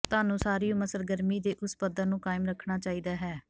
ਤੁਹਾਨੂੰ ਸਾਰੀ ਉਮਰ ਸਰਗਰਮੀ ਦੇ ਉਸ ਪੱਧਰ ਨੂੰ ਕਾਇਮ ਰੱਖਣਾ ਚਾਹੀਦਾ ਹੈ